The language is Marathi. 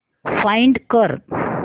फाइंड कर